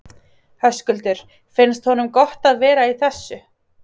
Höskuldur: Finnst honum gott að vera í þessu?